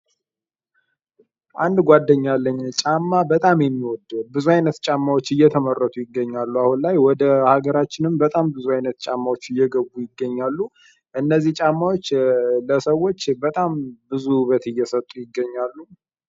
አንድ ጓደኛ አለኝ ጫማ በጣም የሚወድ ብዙ አይነት ጫማዎች እየተመሰቱ ይገኛሉ አሁን ላይ ወደ አገራችንም በጣም ብዙ አይነት እየገቡ ይገኛሉ። እነዚህ ጫማዎች ለሰዎች በጣም ብዙ ዉበት እየሰጡ ይገኛሉ።